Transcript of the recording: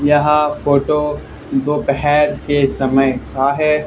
यह फोटो दोपहर के समय का है।